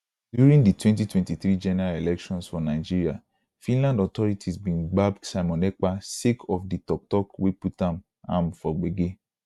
during di 2023 general elections for nigeria finland authorities bin gbab simon ekpa sake of di tok tok wey put am am for gbege